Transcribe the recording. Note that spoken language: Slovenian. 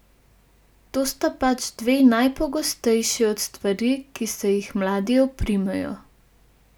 To sta pač dve najpogostejši od stvari, ki se jih mladi oprimejo.